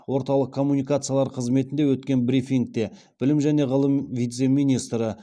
орталық коммуникациялар қызметінде өткен брифингте білім және ғылым вице министрі